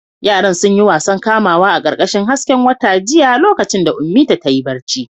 Yaran sun yi wasan kamawa a ƙarƙashin hasken wata jiya lokacin da Ummita ta yi barci.